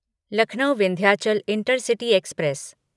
Lucknow Vindhyachal Intercity express